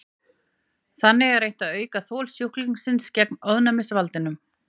Þannig er reynt að auka þol sjúklingsins gegn ofnæmisvaldinum.